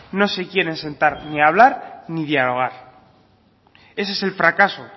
no se quieren sentar ni a hablar ni dialogar ese es el fracaso